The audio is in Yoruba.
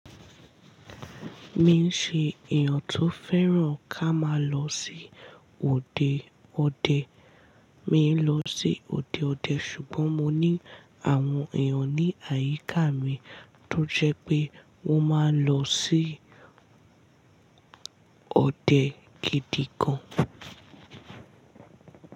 Mi n ṣe èèyàn tó fẹ́ràn ká má lọ sí òde ọdẹ. Mi n lọ sí òde ọdẹ ṣùgbọ́n mo ní àwọn èèyàn ní àyíká mi tó jẹ́ pé wọ́n máa ń lọ sí ọdẹ gidi gan.